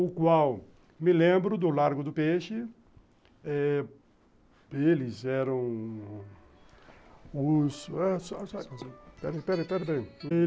o qual, me lembro, do Largo do Peixe, eles eram os... (toque de celular) Peraí, peraí, peraí.